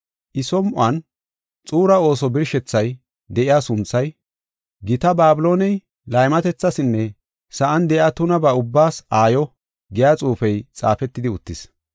I som7on xuura ooso birshethay de7iya sunthay, “Gita Babilooney, laymatethasinne sa7an de7iya tunabaa ubbaas aayo” giya xuufey xaafetidi uttis.